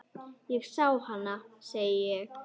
Ég sá hana, segi ég.